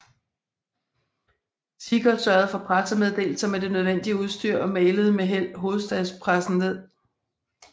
Seeger sørgede for pressemeddelelser med det nødvendige udstyr og mailede med held hovedstadspressen ned